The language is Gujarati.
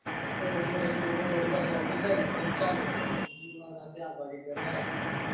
વડી પાછો વડી પાછો office આ ઈન કોમ ચાલુ રાતે આઠ વાગે ઘરે જવાનું.